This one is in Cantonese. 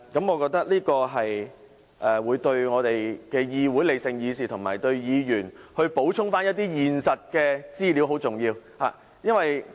我覺得這樣對議會理性議事，以及為議員補充一些現實資料很重要。